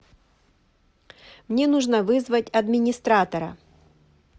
мне нужно вызвать администратора